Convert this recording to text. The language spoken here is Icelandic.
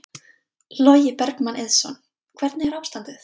Logi Bergmann Eiðsson: Hvernig er ástandið?